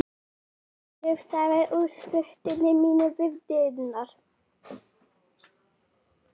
Ég lufsaðist úr skotinu mínu við dyrnar.